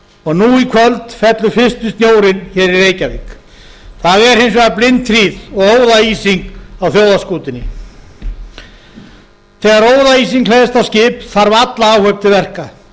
og nú í kvöld fellur fyrsti snjórinn hér í reykjavík það er hins vegar blindhríð og óðaísing á þjóðarskútunni þegar óðaísing hleðst á skip þarf alla áhöfn til verka